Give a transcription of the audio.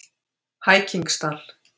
Hækingsdal